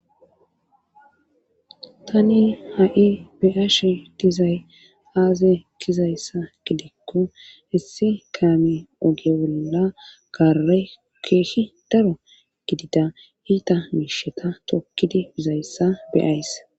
tani ha7i beyashe dizay aaze gizayssa gidekko issi kaami oge bolla kare keehi daro gidida hiita miisheta tokkidi bizayssa beyayss